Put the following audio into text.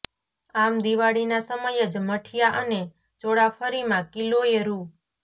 આમ દિવાળીના સમયે જ મઠીયા અને ચોળાફળીમાં કિલોએ રૂ